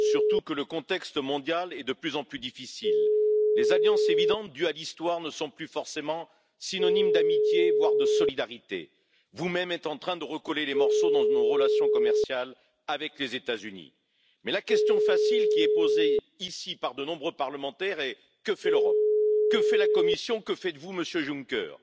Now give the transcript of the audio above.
contra los intentos de golpe de Estado. Mi país, España, ha sufrido un intento de golpe de Estado hace un año, pero el Tribunal Supremo español no tiene a su disposición, para juzgarlos, a todos los responsables porque un tribunal regional de otro Estado de la Unión le ha negado esa posibilidad.